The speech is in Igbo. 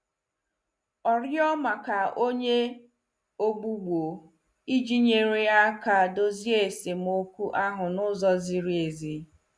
Ọ rịọ maka onye ogbugbo iji nyere aka dozie esemokwu ahụ n'ụzọ ziri ezi.